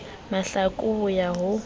mahlaku ho ya ho ya